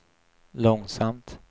långsamt